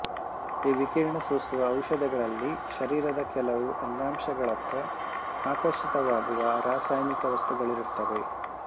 ಈ ವಿಕಿರಣ ಸೂಸುವ ಔಷಧಗಳಲ್ಲಿ ಶರೀರದ ಕೆಲವು ಅಂಗಾಂಶಗಳತ್ತ ಆಕರ್ಷಿತವಾಗುವ ರಾಸಾಯನಿಕ ವಸ್ತುಗಳಿರುತ್ತವೆ